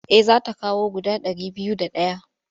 Eh za ta kawo guda ɗari biyu da ɗaya.